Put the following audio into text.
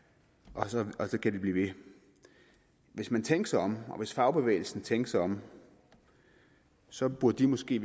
og sådan kan det blive ved hvis man tænkte sig om og hvis fagbevægelsen tænkte sig om så burde den måske